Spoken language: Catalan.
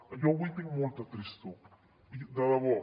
jo avui tinc molta tristor de debò